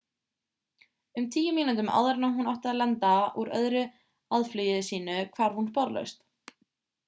um tíu mínútum áður en hún átti að lenda úr öðru aðflugi sínu hvarf hún sporlaust